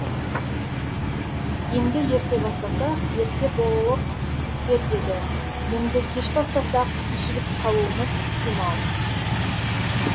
енді ерте бастасақ ерте болып кетер еді енді кеш бастасақ кешігіп қалуымыз ықтимал